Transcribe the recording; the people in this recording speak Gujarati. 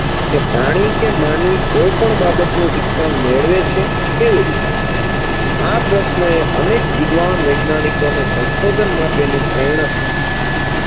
કે પ્રાણી કે માનવી કોઈપણ બાબતનું શિક્ષણ મેળવે છે કેવી રીતે? આ પ્રશ્નએ અનેક વિદ્વાન વૈજ્ઞાનિકોને સંશોધન માટેની પ્રેરણા પૂરી પાડી છે